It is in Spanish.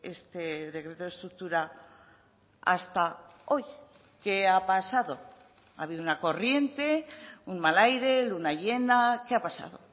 este decreto de estructura hasta hoy qué ha pasado ha habido una corriente un mal aire luna llena qué ha pasado